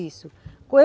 Isso